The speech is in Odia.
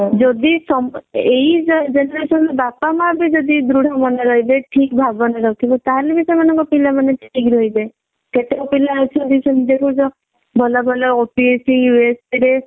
ଯଦି ସମସ୍ତେ ଏଇ generation ରେ ବାପା ମାଆ ବି ଯଦି ଦୃଢ ମନ ରହିବେ ଠିକ ଭାବନା ରଖିବେ ତାହେଲେ ଯାଇକି ସେମାନଙ୍କ ପିଲା ମାନେ ଯାଇକି ଠିକ ରହିବେ। କେତେକ ପିଲା ଅଛନ୍ତି ସେମିତି ଦେଖୁଛ ଭଲ ଭଲ OPSC USP